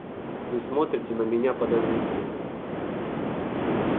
вы смотрите на меня подозрительно